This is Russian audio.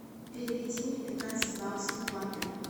переведи мне пятнадцать баксов в баты